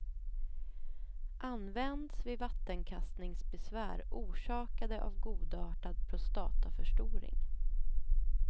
Används vid vattenkastningsbesvär orsakade av godartad prostataförstoring.